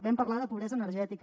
vam parlar de pobresa energètica